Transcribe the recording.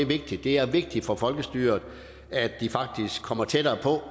vigtigt det er vigtigt for folkestyret at de faktisk kommer tættere på